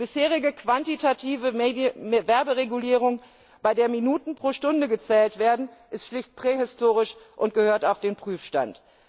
Die bisherige quantitative Werberegulierung, bei der Minuten pro Stunde gezählt werden, ist schlicht prähistorisch und gehört auf den Prüfstand.